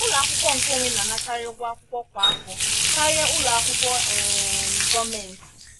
ụlọ akwụkwọ nkeonwe na-anakarị ụgwọ akwụkwọ kwa afọ karịa ụlọ akwụkwọ um gọọmentị